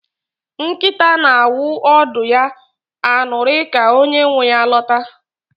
Nkịta na-awụ ọdụ ya aṅụrị ka onye nwe ya lọta.